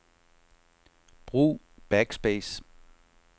Brug backspace.